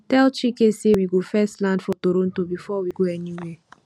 tell chike say we go first land for toronto before we go anywhere